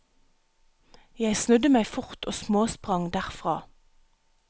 Jeg snudde meg fort og småsprang derfra.